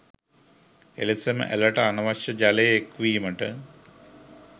එලෙසම ඇළට අනවශ්‍ය ජලය එක්වීමට